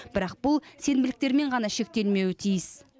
бірақ бұл сенбіліктермен ғана шектелмеуі тиіс